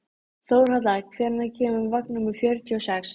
Þórhalla, hvenær kemur vagn númer fjörutíu og sex?